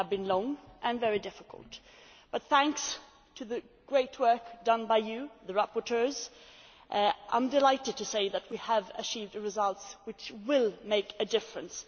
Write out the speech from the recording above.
They have been long and very difficult, but thanks to the great work done by you, the rapporteurs, I am delighted to say that we achieved the results which will make a difference.